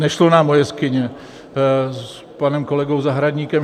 Nešlo nám o jeskyně s panem kolegou Zahradníkem.